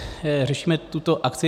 Řešíme tuto akci.